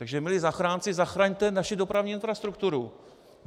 Takže milí zachránci, zachraňte naši dopravní infrastrukturu.